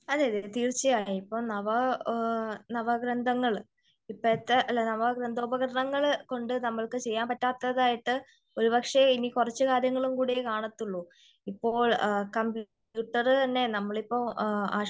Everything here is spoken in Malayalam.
അതേ അതേ തീർച്ചയായും. ഇപ്പോ നവ നാവഗ്രന്ഥങ്ങൾ ഇപ്പോഴത്തെ നവ ഗ്രന്ഥ ഉപകരണങ്ങൾ കൊണ്ട് നമുക്ക് ചെയ്യാൻ പറ്റാത്തതായിട്ട് ഒരു പക്ഷേ ഇനി കുറച്ച് കാര്യങ്ങളും കൂടിയേ കാണത്തുള്ളു. ഇപ്പോൾ കമ്പ്യൂട്ടർ തന്നെ നമ്മളിപ്പോ ആശുപത്രികളിൽ